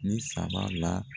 Nin saba la.